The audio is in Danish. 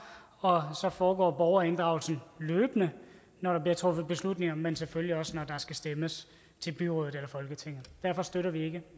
og så foregår borgerinddragelse løbende når der bliver truffet beslutninger men selvfølgelig også når der skal stemmes til byrådet eller folketinget derfor støtter vi ikke